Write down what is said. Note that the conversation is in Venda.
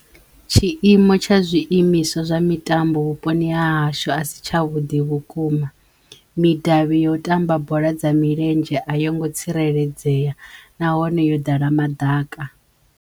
Tshiimo tsha zwiimiswa zwa mitambo vhuponi ha hashu a si tsha vhudi vhukuma midavhi yo u tamba bola dza milenzhe a yo ngo tsireledzeya nahone yo ḓala madaka.